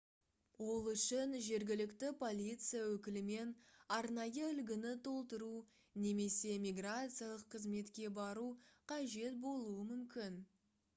ол үшін жергілікті полиция өкілімен арнайы үлгіні толтыру немесе миграциялық қызметке бару қажет болуы мүмкін